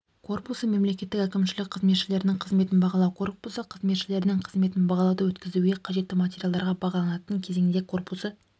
корпусы мемлекеттік әкімшілік қызметшілерінің қызметін бағалау корпусы қызметшілерінің қызметін бағалауды өткізуге қажетті материалдарға бағаланатын кезеңде корпусы